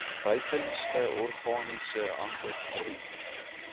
buitenste organiese ankervorm